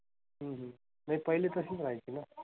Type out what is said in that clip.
हम्म म्हणजे पहिली तशीच राहायची ना?